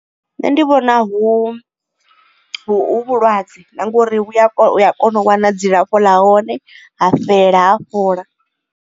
Nṋe ndi vhona hu vhulwadze na ngori uya kona u wana dzilafho ḽa hone ha fhela ha fhola.